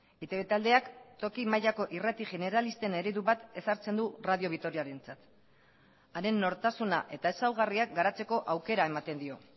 eitb taldeak toki mailako irrati generalisten eredu bat ezartzen du radio vitoriarentzat haren nortasuna eta ezaugarriak garatzeko aukera ematen dio